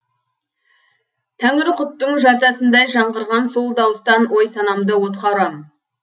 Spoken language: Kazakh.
тәңірқұттың жартасындай жаңғырған сол дауыстан ой санамды отқа ұрам